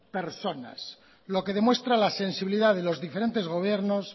personas lo que demuestra la sensibilidad de los diferentes gobiernos